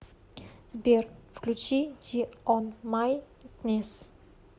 сбер включи ди он май нис